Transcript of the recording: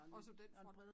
Også på den front